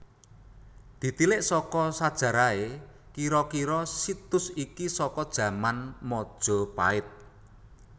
Ditilik saka sajarahé kira kira situs iki saka jaman majapahit